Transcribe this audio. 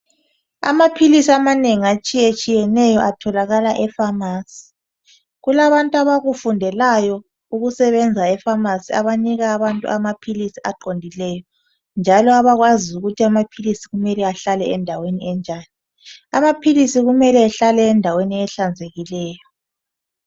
Amaphilisi amanengi atshiyatshiyeneyo atholakala efamasi kulabantu abakufundelayo ukusebenza efamsi abanika abantu amaphilisi aqondileyo njalo abakwaziyo ukuthi amaphilisi kumele ahlale endaweni enjani amaphilisi kumele ehlale endaweni ehlanzekileyo.